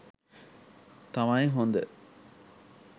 තමයි හොඳ.